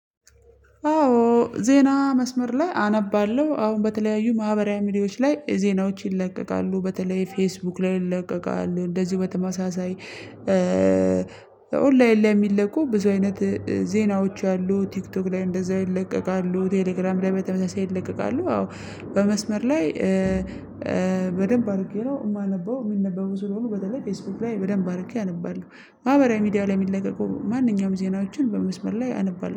አዎ ዜና መስመር ላይ አነባለሁ አሁን በተለያዩ ማህበራዊ ሚዲያዎች ላይ ዜናዎች ይለቀቃሉ በተለይ ፌስቡክ ላይ ይለቀቃል እንደዚሁ በተመሳሳይ ኦንላይን ላይ የሚለቁ ብዙ አይነት ዜናዎች አሉ። ቲክቶክ ላይ እንደዛው ይለቀቃሉ ቴሌግራም ላይ በተመሳሳይ ይለቀቃሉ። አዎ በመስመር ላይ በደንብ አድርጌ ነው የማነበው። የሚነበቡ ስለሆኑ በተለይ ፌስቡክ ላይ በደንብ አርጌ አነባለሁ። ማህበራዊ ሚዲያ ላይ የሚለቀቀው ማንኛውም ዜናዎችን በመስመር ላይ አነባለሁ